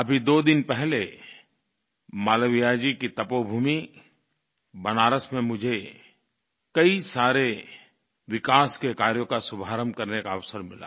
अभी दो दिन पहले मालवीय जी की तपोभूमि बनारस में मुझे कई सारे विकास के कार्यों का शुभारम्भ करने का अवसर मिला